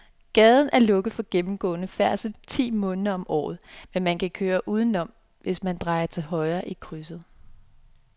Gaden er lukket for gennemgående færdsel ti måneder om året, men man kan køre udenom, hvis man drejer til højre i krydset.